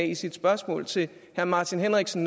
i sit spørgsmål til herre martin henriksen